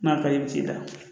N'a ka di ye i bɛ t'i da